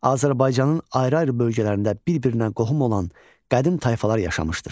Azərbaycanın ayrı-ayrı bölgələrində bir-birinə qohum olan qədim tayfalar yaşamışdır.